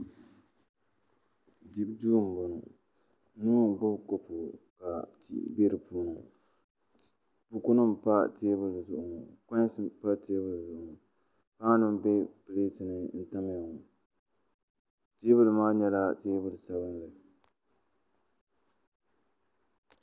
Dibu duu n boŋɔ nuu n gbibi kopu ŋɔ ka tii be dipuuni ŋɔ bukunima mpa teebuli zuɣu ŋɔ konsi pa teebuli zuɣu ŋɔ paanu n be pileti ni n tamya ŋɔ teebuli maa nyɛla teebuli sabinli.